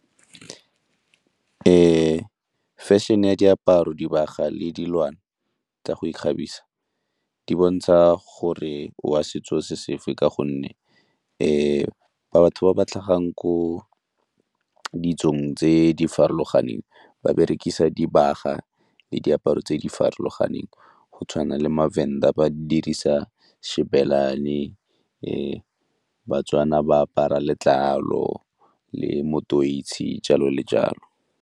Fashion-e ya diaparo, dibaga le dilwana tsa go ikgabisa di bontsha gore o wa setso se sefe ka gonne fa ba batho ba ba tlhagang ko ditsong tse di farologaneng ba berekisa dibaga le diaparo tse di farologaneng go tshwana le maVenda ba dirisa Xibelani, baTswana ba apara letlalo le motoisi, jalo le jalo.